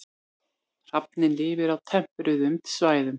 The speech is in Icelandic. Hrafninn lifir á tempruðum svæðum.